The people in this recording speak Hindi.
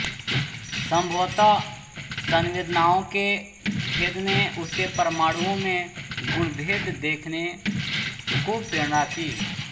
संभवत सवेदनाओं के भेद ने उसे परमाणुओं में गुणभेद देखने को प्रेरणा की